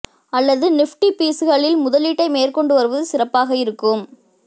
அல்லது நிஃப்டி பீஸ்களில் முதலீட்டை மேற்கொண்டு வருவது சிறப்பாக இருக்கும்